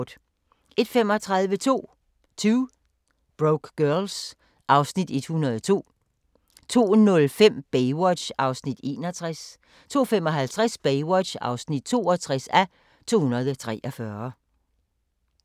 01:35: 2 Broke Girls (Afs. 102) 02:05: Baywatch (61:243) 02:55: Baywatch (62:243)